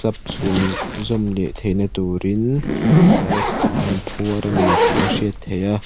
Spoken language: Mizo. slab chhun zawm leh na turin aaa rod te an phuar a ni tih a hriat theih a.